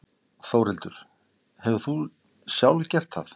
Þórhildur: Hefur þú sjálf gert það?